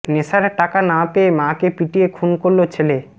নেশার টাকা না পেয়ে মাকে পিটিয়ে খুন করল ছেলে